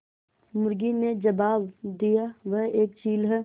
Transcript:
मुर्गी ने जबाब दिया वह एक चील है